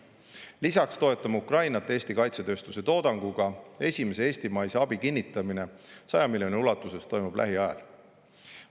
Lisaks toetame Ukrainat Eesti kaitsetööstuse toodanguga, esimese eestimaise abi kinnitamine 100 miljoni ulatuses toimub lähiajal.